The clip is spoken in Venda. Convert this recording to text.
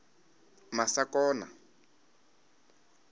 masakona